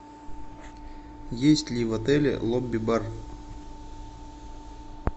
есть ли в отеле лобби бар